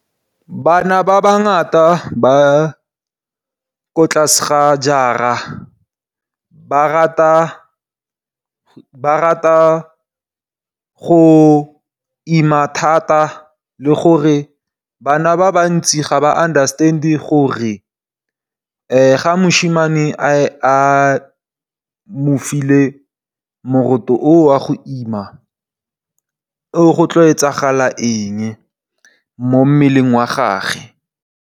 Bana ba ba ngata ba ko tlase ga jara ba rata go ima thata le gore bana ba bantsi ga ba understand-e gore ga mošimane a mo file moroto oo wa go ima go tla etsagala eng mo mmeleng wa gage.